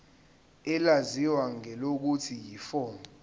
elaziwa ngelokuthi yiform